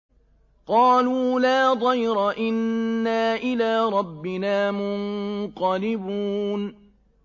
قَالُوا لَا ضَيْرَ ۖ إِنَّا إِلَىٰ رَبِّنَا مُنقَلِبُونَ